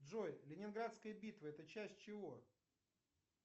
джой ленинградская битва это часть чего